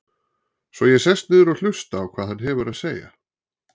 Svo ég sest niður og hlusta á hvað hann hefur að segja.